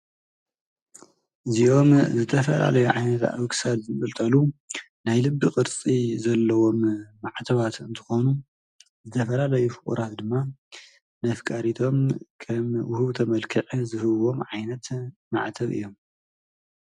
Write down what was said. እዚኦም ዝተፈላለዩ ዓይነት ኣብ ክሳድ ዝንጥልጠሉ ናይ ልቢ ቅርፂ ዘለዎም ማዕተባት እንትኾኑ ዝተፈላለዩ ፍቑራት ድማ ነፍቃሪቶም ከም ውህብቶ መልኽዕ ዝህብዎም ዓይነት ማዕተብ እዮም።